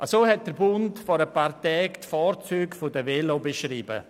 So hat «Der Bund» vor einigen Tagen die Vorzüge von Velos beschrieben.